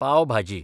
पाव भाजी